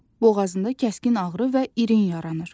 Boğazında kəskin ağrı və irin yaranır.